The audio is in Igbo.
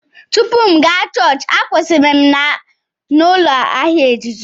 Tupu m aga chọọchị, m kwụsịrị na m ụlọ ahịa ejiji.